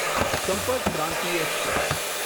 સંપર્ક ક્રાંતિ એક્સપ્રેસ